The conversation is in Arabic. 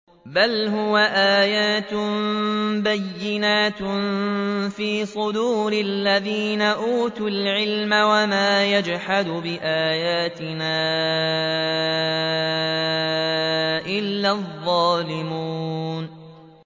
بَلْ هُوَ آيَاتٌ بَيِّنَاتٌ فِي صُدُورِ الَّذِينَ أُوتُوا الْعِلْمَ ۚ وَمَا يَجْحَدُ بِآيَاتِنَا إِلَّا الظَّالِمُونَ